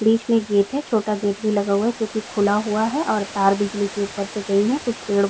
बीच में गेट है छोटा गेट भी लगा हुआ है जो कि खुला हुआ है और तार बिजली के ऊपर से गई हैं। कुछ पेड़ --